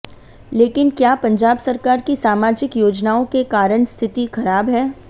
लेकिन क्या पंजाब सरकार की सामाजिक योजनाओं के कारण स्थिति खराब है